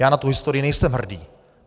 Já na tu historii nejsem hrdý.